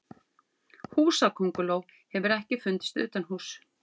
húsakönguló hefur ekki fundist utanhúss